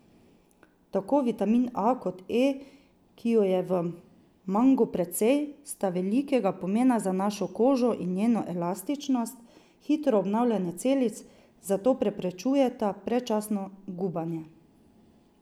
Tako vitamin A kot E, ki ju je v mangu precej, sta velikega pomena za našo kožo in njeno elastičnost, hitro obnavljanje celic, zato preprečujeta predčasno gubanje.